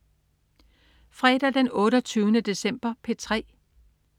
Fredag den 28. december - P3: